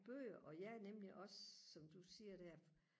bøger og ja nemlig også som du siger der